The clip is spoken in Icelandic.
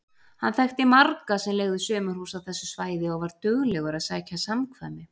Hann þekkti marga sem leigðu sumarhús á þessu svæði og var duglegur að sækja samkvæmi.